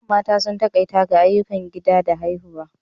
A da, mata sun takaita ga ayyukan gida da haihuwa.